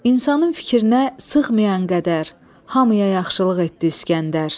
İnsanın fikrinə sığmayan qədər, hamıya yaxşılıq etdi İsgəndər.